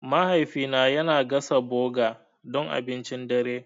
Mahaifina yana gasa burger don abincin dare.